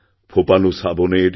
ফোঁপানো শ্রাবণের